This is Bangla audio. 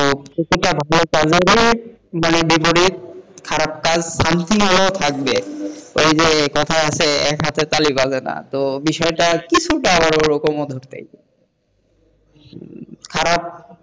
কিছুটা ভালো থাকলেও কিন্তু বিপরীত, তো এই যে কথায় আছে এক হাতে তালি বাজে না তো বিষয়টা কিছুটা হলেও ধরতে পারেনখারাপ,